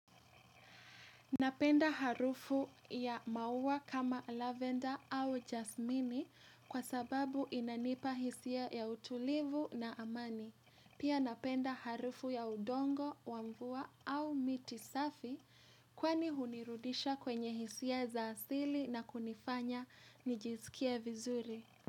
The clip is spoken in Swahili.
Napenda harufu ya maua kama lavenda au jasmini kwa sababu inanipa hisia ya utulivu na amani. Pia napenda harufu ya udongo, wa mvua au miti safi kwani hunirudisha kwenye hisia za asili na kunifanya nijisikie vizuri.